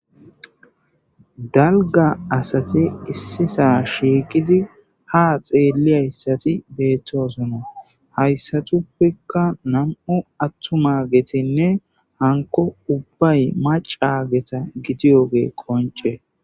dalga asati issisa shiiqidi ha xeeliyayssati deettosona hayssatuppekka nam7u attuma getinne hanko ubbay maca geta gidiyoge konce.